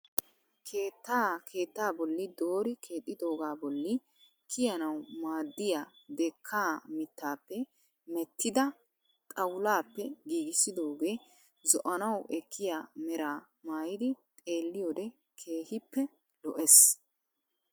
Keettaa keettaa bolli doori keexxidoogaa bolli kiyanawu miaaddya dekkaa mittaappe meeettida xawulaappe giigissidoogee zo'anawu ekkiya meraa maayidi xeelliyode keehippe lo'es.